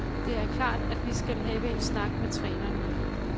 Det er klart, at vi skal have en snak med trænerne.